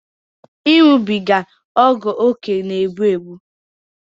ịṅụbiga ọgwụókè na-egbu egbu